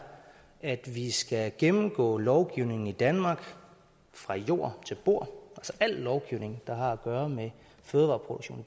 at vi skal gennemgå lovgivningen i danmark fra jord til bord al lovgivning der har at gøre med fødevareproduktion